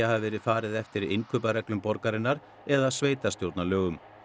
hafi verið farið eftir innkaupareglum borgarinnar eða sveitarstjórnarlögum